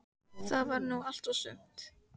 Það var nú allt og sumt.